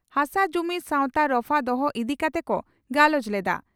ᱦᱟᱥᱟ ᱡᱚᱢᱤ ᱥᱟᱣᱛᱟ ᱨᱚᱯᱷᱟ ᱫᱚᱦᱚ ᱤᱫᱤ ᱠᱟᱛᱮ ᱠᱚ ᱜᱟᱞᱚᱪ ᱞᱮᱫᱼᱟ ᱾